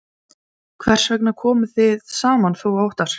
Höskuldur Kári: Hvers vegna komuð þið saman þú og Óttarr?